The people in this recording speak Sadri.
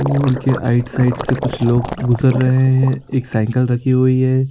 पूल के आइड साइड से कुछ लोग गुजर रहे है एक साइकिल रखी हुईं है।